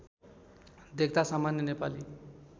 देख्दा सामान्य नेपाली